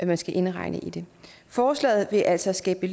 man skal indregne i det forslaget vil altså skabe